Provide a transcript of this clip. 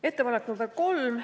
Ettepanek nr 3.